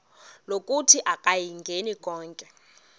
lokuthi akayingeni konke